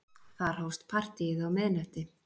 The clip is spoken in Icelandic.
Þar hófst partíið um miðnætti.